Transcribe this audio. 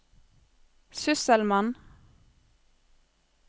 sysselmann